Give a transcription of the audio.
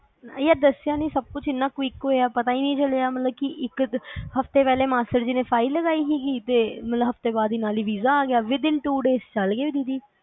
ਯਾਰ ਦੱਸਿਆ ਨੀ ਸਬ ਕੁਛ ਏਨਾ quick ਹੋਇਆ ਪਤਾ ਈ ਨਹੀ ਚੱਲਿਆ ਮਤਲਬ ਕਿ ਇਕ ਹਫ਼ਤੇ ਪਹਿਲੇ ਮਾਸੜ ਜੀ ਨੇ ਫਾਈਲ ਲਗਾਈ ਹੀਗੀ ਤੇ ਮਤਲਬ ਹਫ਼ਤੇ ਬਾਅਦ ਨਾਲ ਈ ਵੀਜ਼ਾ ਆ ਗਿਆ within two days ਚ ਚਲਗੇ ਦੀਦੀ